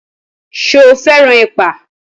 Ṣo fẹ́ràn ẹ̀pà?